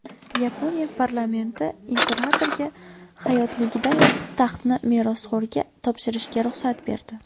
Yaponiya parlamenti imperatorga hayotligidayoq taxtni merosxo‘rga topshirishga ruxsat berdi.